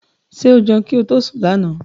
Ṣé o jẹun kí ó tó sún lànà?